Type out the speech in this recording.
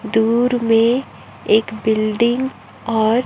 दूर में एक बिल्डिंग और--